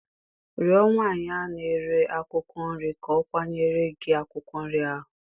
Rịọ nwanyị na-ere akwụkwọ nri ka ọ kwachara gị akwụkwọ nri ahụ.